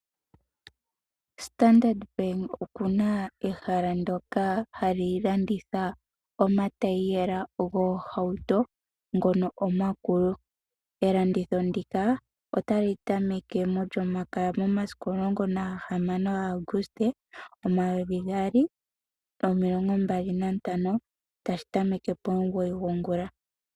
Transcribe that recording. Standard Bank okuna ehala ndoka hali landitha omatayiyela goohauto ngono omakulu elanditho ndika otali tameke mo lyomakaya momasiku 16 August 2025 tashi tameke pomugoyi gongula.